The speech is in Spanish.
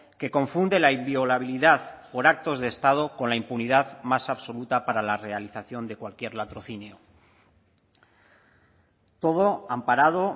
que confunde la inviolabilidad por actos de estado con la impunidad más absoluta para la realización de cualquier latrocinio todo amparado